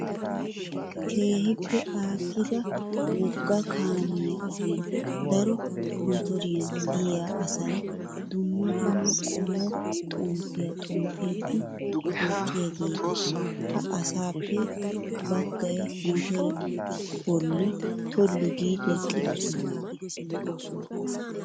Keehippe aakkida wogga kaamiyaa ogiyan daro motoriyan diya asayi dumma dumma qommo xomppiyaa xomppiiddi woxxiyaageeta. Ha asaappe baggayi motoree bolla tollu giidi eqqidosona.